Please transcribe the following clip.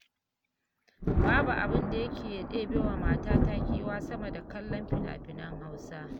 Babu abin da yake ɗebewa matata kewa, sama da kallon fina-finan Hausa.